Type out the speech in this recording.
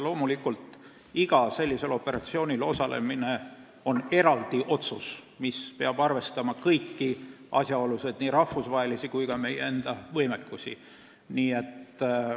Loomulikult langetatakse igal sellisel operatsioonil osalemise kohta eraldi otsus, arvestades kõiki asjaolusid, nii rahvusvahelisi kui ka meie enda võimekust.